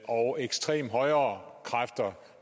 og ekstreme højrekræfter